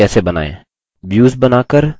a views बनाकर और